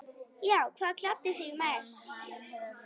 Já Hvað gladdi þig mest?